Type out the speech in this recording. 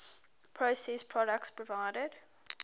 processed products provided